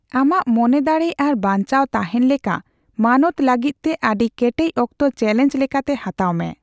ᱟᱢᱟᱜ ᱢᱚᱱᱮᱫᱟᱲᱮ ᱟᱨ ᱵᱟᱧᱪᱟᱣ ᱛᱟᱦᱮᱱ ᱞᱮᱠᱟ ᱢᱟᱱᱚᱛ ᱞᱟᱹᱜᱤᱫ ᱛᱮ ᱟᱹᱰᱤ ᱠᱮᱴᱮᱡ ᱚᱠᱛᱚ ᱪᱮᱞᱮᱧᱡᱽ ᱞᱮᱠᱟᱛᱮ ᱦᱟᱛᱟᱣ ᱢᱮ ᱾